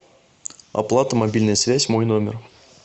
оплата мобильная связь мой номер